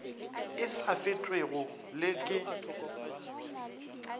e sa fetwego le ke